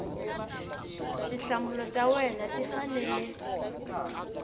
tinhlamulo ta wena ti fanele